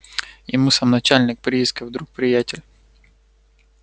ему сам начальник приисков друг приятель